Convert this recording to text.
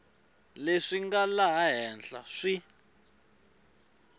leswi nga laha henhla swi